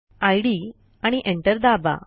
इद आणि एंटर दाबा